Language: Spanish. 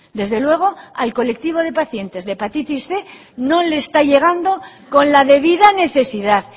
desde luego al colectivo de pacientes de hepatitis cien no le está llegando con la debida necesidad